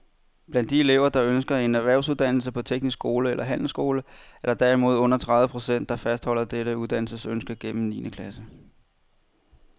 Blandt de elever, der ønsker en erhvervsuddannelse på teknisk skole eller handelsskole, er der derimod under tredive procent, der fastholder dette uddannelsesønske gennem niende klasse.